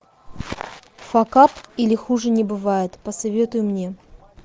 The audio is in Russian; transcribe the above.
факап или хуже не бывает посоветуй мне